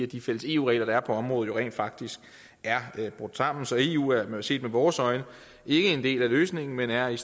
de fælles eu regler der er på området rent faktisk er brudt sammen så eu er set med vores øjne ikke en del af løsningen men er i